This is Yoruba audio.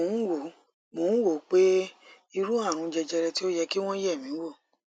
mò ń wò mò ń wò ó pé irú àrùn jẹjẹrẹ tí ó yẹ kí wọn yẹ mí wò